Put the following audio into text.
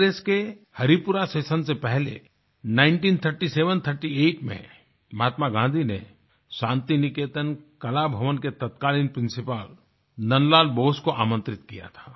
कांग्रेस के हरिपुरा सेशन से पहले 193738 में महात्मा गाँधी ने शांति निकेतन कला भवन के तत्कालीन प्रिंसिपल नन्द लाल बोस को आमन्त्रित किया था